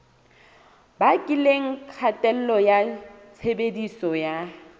bakileng kgatello ya tshebediso ya